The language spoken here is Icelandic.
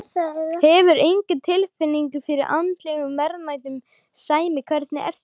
Hefurðu enga tilfinningu fyrir andlegum verðmætum, Sæmi, hvernig er það?